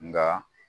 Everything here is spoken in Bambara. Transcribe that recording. Nka